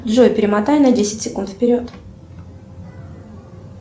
джой перемотай на десять секунд вперед